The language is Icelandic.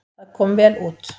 Það kom vel út.